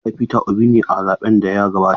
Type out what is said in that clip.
Na zaɓi Peter Obi ne a zaɓen da ya gabata.